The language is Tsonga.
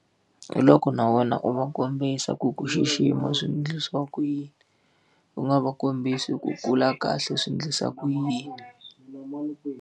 Hi loko na wena u va kombisa ku ku xixima swi endlisiwa ku yini. U nga va kombisa ku kula kahle swi endlisa ku yini.